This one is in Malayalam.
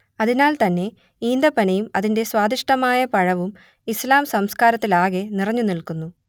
അതിനാൽ തന്നെ ഈന്തപ്പനയും അതിന്റെ സ്വാദിഷ്ഠമായ പഴവും ഇസ്ലാം സംസ്ക്കാരത്തിലാകെ നിറഞ്ഞു നിൽക്കുന്നു